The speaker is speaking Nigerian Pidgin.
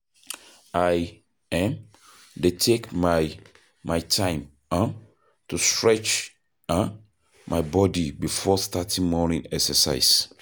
I um dey take my my time um to stretch um my body before starting morning exercise.